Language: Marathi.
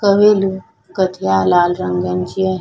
कवेलो कथीया लाल रंगांची आहे.